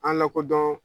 An lakodɔn